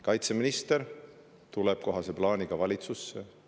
Kaitseminister tuleb kohase plaaniga valitsusse.